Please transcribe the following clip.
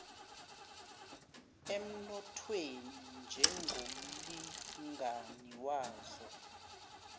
emnothweni njengomlingani wazo